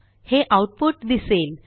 हे आऊटपुट दिसेल